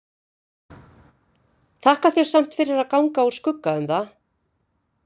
Þakka þér samt fyrir að ganga úr skugga um það.